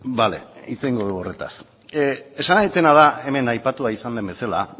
bale hitz egingo dugu horretaz esan nahi dudana da hemen aipatua izan den bezala